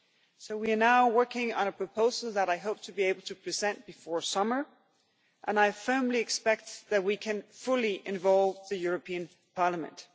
So we are now working on a proposal that I hope to be able to present before summer and I firmly expect that we can fully involve Parliament.